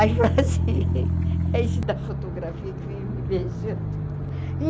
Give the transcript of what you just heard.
Aí eu falei assim, é isso da fotografia que vem me beijando.